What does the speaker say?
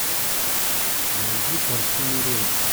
найди картину рейк